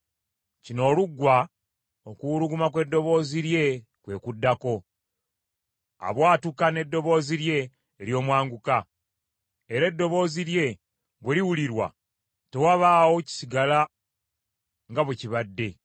Kino oluggwa, okuwuluguma kw’eddoboozi lye kwe kuddako, abwatuka n’eddoboozi lye ery’omwanguka, era eddoboozi lye bwe liwulirwa, tewabaawo kisigala nga bwe kibadde.